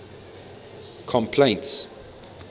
complaints